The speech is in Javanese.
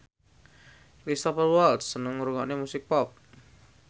Cristhoper Waltz seneng ngrungokne musik pop